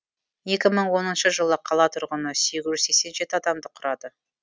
екі мың оныншы жылы қала тұрғыны сегіз жүз сексен жеті адамды құрады